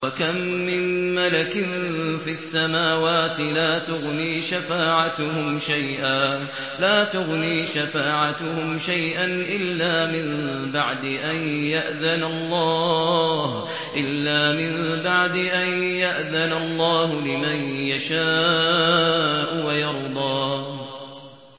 ۞ وَكَم مِّن مَّلَكٍ فِي السَّمَاوَاتِ لَا تُغْنِي شَفَاعَتُهُمْ شَيْئًا إِلَّا مِن بَعْدِ أَن يَأْذَنَ اللَّهُ لِمَن يَشَاءُ وَيَرْضَىٰ